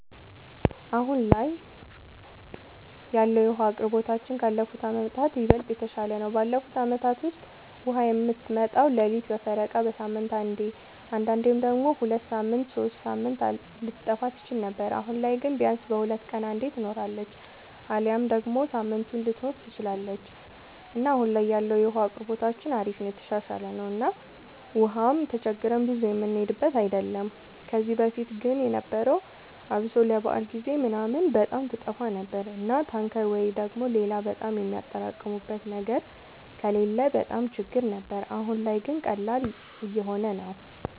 አሁን ላይ ያለወለ የዉሀ አቅርቦታችን ካለፉት አመታት ይበልጥ የተሻለ ነው። ባለፉት አመታት ውስጥ ውሃ የምትመጣው ሌሊት በፈረቃ፣ በሳምንት አንዴ አንዳንዴም ደግሞ ሁለት ሳምንት ሶስት ሳምንት ልትጠፋ ትችል ነበር። አሁን ላይ ግን ቢያንስ በሁለት ቀን አንዴ ትኖራለች አሊያም ደግሞ ሳምንቱንም ልትኖር ትችላለች እና አሁን ላይ ያለው የውሃ አቅርቦታችን አሪፍ ነው የተሻሻለ ነው እና ውሃም ተቸግረን ብዙ የምንሄድበት አይደለም። ከዚህ በፊት ግን የነበረው አብሶ ለበዓል ጊዜ ምናምን በጣም ትጠፋ ነበር እና ታንከር ወይ ደግሞ ሌላ በጣም የሚያጠራቅሙበት ነገር ከሌለ በጣም ችግር ነበር። አሁን ላይ ግን ቀላል እየሆነ ነው።